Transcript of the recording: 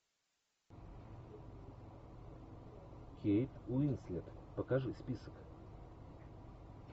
кейт уинслет покажи список